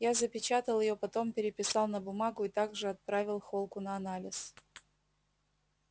я запечатал её потом переписал на бумагу и также отправил холку на анализ